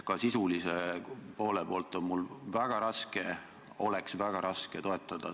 Ka sisulise poole pealt on mul väga raske teie eelnõu toetada.